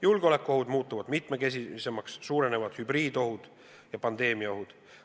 Julgeolekuohud muutuvad mitmekesisemaks, suurenevad hübriidohud ja pandeemiaohud.